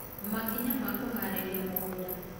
makĩnya ma kũharĩrĩa mũgũnda